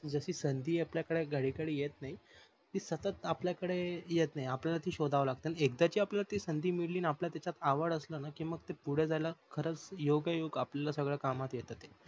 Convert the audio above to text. जशी संधी आपल्या घडीकडे येत नाही ती सतत आपल्याकडे येत नाही ती आपल्याल सोधव लागते आणि एकदाची संधी मिल्ली आणि आपल्याला त्याच्यात आवड असल न कि पुढ जायला योग योग आपली आला सगळ कामत येत